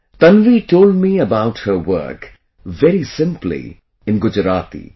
Tanvi told me about her work very simply in Gujarati